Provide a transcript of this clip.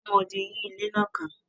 Wọ́n mọ odì yí ilé náà ká.